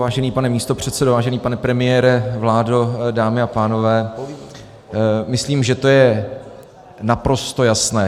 Vážený pane místopředsedo, vážený pane premiére, vládo, dámy a pánové, myslím, že to je naprosto jasné.